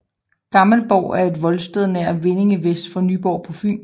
Gammelborg er et voldsted nær Vindinge vest for Nyborg på Fyn